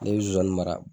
Ne bɛ zonzani mara